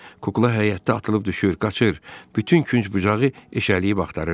Kukla həyətdə atılıb düşür, qaçır, bütün künc-bucağı eşələyib axtarırdı.